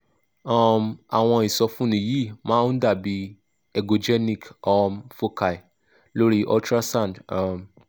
um àwọn ìsọfúnni yìí máa ń dà bí echogenic foci lori ultrasound um